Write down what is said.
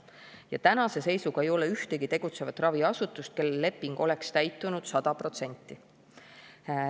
Ja tänase seisuga ei ole ühtegi tegutsevat raviasutust, kelle leping oleks täitunud 100%.